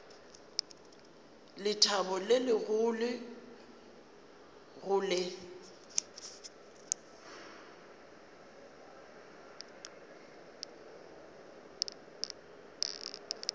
lethabo le legolo go le